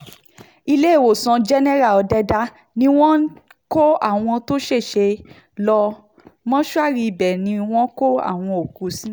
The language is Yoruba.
iléèwòsàn jẹ́nẹ́rà òdẹ̀dà ni wọ́n kó àwọn tó ṣẹ̀ṣẹ̀ lọ mọ́ṣúárì ibẹ̀ náà ni wọ́n kó àwọn òkú sí